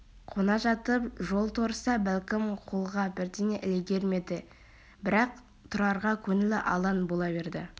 қона жатып жол торыса бәлкім қолға бірдеңе ілігер ме еді бірақ тұрарға көңілі алаң бола берді